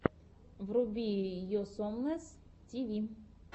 вруби оусомнесс ти ви